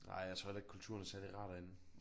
Nej jeg tror heller ikke kulturen er særlig rar derinde